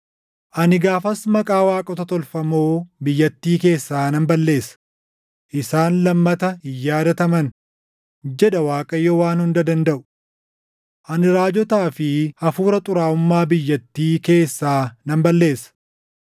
“Ani gaafas maqaa waaqota tolfamoo biyyattii keessaa nan balleessa; isaan lammata hin yaadataman” jedha Waaqayyo Waan Hunda Dandaʼu. “Ani raajotaa fi hafuura xuraaʼummaa biyyattii keessaa nan balleessa.